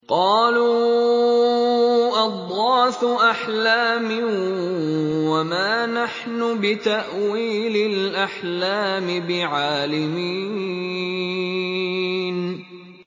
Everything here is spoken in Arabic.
قَالُوا أَضْغَاثُ أَحْلَامٍ ۖ وَمَا نَحْنُ بِتَأْوِيلِ الْأَحْلَامِ بِعَالِمِينَ